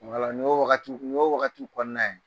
Wala, nin y'o wagati kɔnɔna ye.